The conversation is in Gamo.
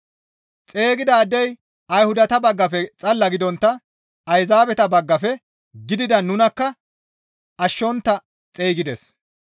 Xeygidaadey Ayhudata baggafe xalala gidontta Ayzaabeta baggafe gidida nunakka ashshontta xeygides.